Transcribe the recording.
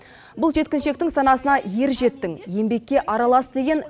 бұл жеткіншектің санасына ер жеттің еңбекке аралас деген